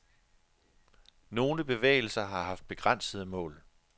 Nogle bevægelser har haft begrænsede mål.